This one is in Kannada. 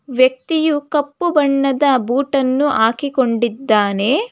ವ್ಯಕ್ತಿಯು ಕಪ್ಪು ಬಣ್ಣದ ಬೂಟನ್ನು ಹಾಕಿಕೊಂಡಿದ್ದಾನೆ.